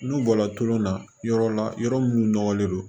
N'u bɔra tulon na yɔrɔ la yɔrɔ minnu nɔgɔlen don